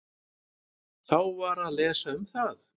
Þá var að lesa um það.